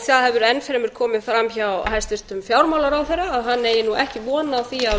það hefur enn fremur komið fram hjá hæstvirtum fjármálaráðherra að hann eigi ekki von á því að